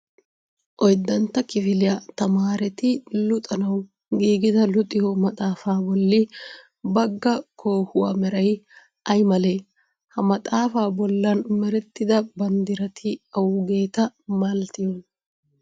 Oyddantta kifiliya tamaareti luxanawu giigida luxiyo maxxaafa bolla bagga koohuwa meray ay malee? Ha maxaafaa bollan merettida banddirati awaageta malatiyonaa?